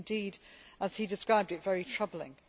It is indeed, as he described it, very troubling.